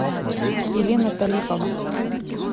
елена талипова